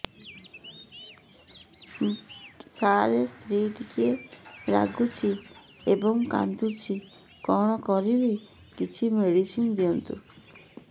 ସାର ସ୍ତ୍ରୀ ଟିକେ ରାଗୁଛି ଏବଂ କାନ୍ଦୁଛି କଣ କରିବି କିଛି ମେଡିସିନ ଦିଅନ୍ତୁ